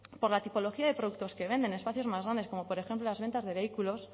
por la tipología de productos que venden espacios más grandes como por ejemplo las ventas de vehículos